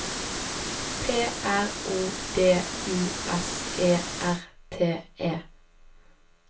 P R O D U S E R T E